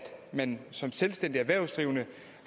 man som selvstændig erhvervsdrivende